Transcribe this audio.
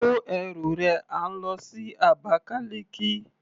Kó ẹrù rẹ à ń lọ sí Abakaliki.